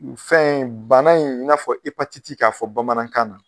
fɛn in bana in i n'a fɔ ipatiti k'a fɔ bamanankan na.